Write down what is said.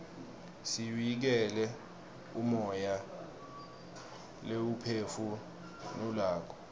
siuikele umoya leiwuphefu nulako